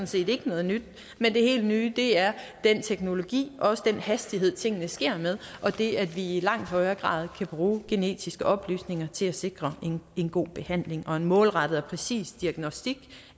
set ikke noget nyt men det helt nye er den teknologi og den hastighed tingene sker med og det at vi i langt højere grad kan bruge genetiske oplysninger til at sikre en god behandling og en målrettet og præcis diagnostik